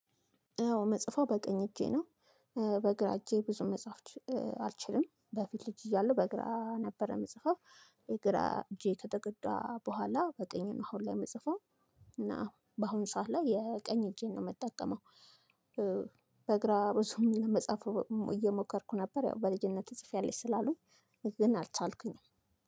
አዎ ምጽፈው በቅኝ እጄ ነው። በግራ እጄ ብዙ መጻፍ አልችልም። በፊት ልጅ እያለሁ በግራ ነበረ የምጽፈው። የግራ እጄ ከተጎዳ በኋላ በቀኝ እና አሁን ላይ የምጽፈው። እና በአሁን ሰዓት ላይ የቀኝ እጄን ነው የምትጠቀመው። በግራ ርዕሱን መጻፍ እየሞከርኩ ነበር ያው በልጅነት ጽፌያለሽ ስላሉኝ። ግን አልቻልኩኝም